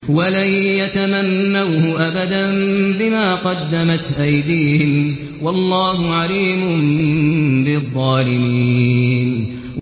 وَلَن يَتَمَنَّوْهُ أَبَدًا بِمَا قَدَّمَتْ أَيْدِيهِمْ ۗ وَاللَّهُ عَلِيمٌ بِالظَّالِمِينَ